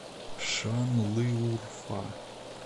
шанлыурфа